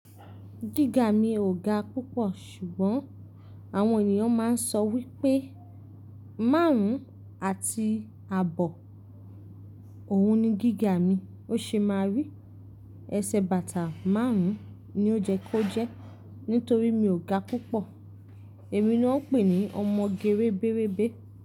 Gíga mi ò ga púpọ̀ ṣùgbọ́n àwọn ènìyàn máa ń sọ wípé márùn-ún àti àbọ̀ òun ni gígaa mi. Ó ṣe máa rí, ẹsẹ̀ bàtà márùn-ún ni ó jẹ kó jẹ́ nítorí mi ò ga púpọ̀. Èmi ni wón ń pè ní ọmọge rébérébé.